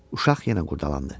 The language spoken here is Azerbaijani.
Uşaq yenə qurdalandı.